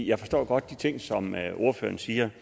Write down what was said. jeg forstår godt de ting som ordføreren siger